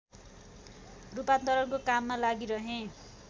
रूपान्तरणको काममा लागिरहे